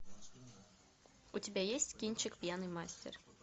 у тебя есть кинчик пьяный мастер